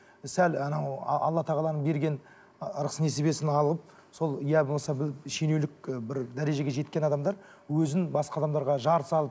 сәл анау алла тағаланың берген ы ырыс несібесін алып сол иә болмаса шенеулік і бір дәрежеге жеткен адамдар өзін басқа адамдарға жар салып